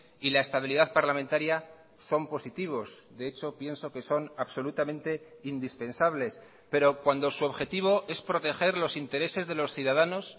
y la estabilidad parlamentaria son positivos de hecho pienso que son absolutamente indispensables pero cuando su objetivo es proteger los intereses de los ciudadanos